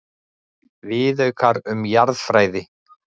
Viðaukar um jarðfræði.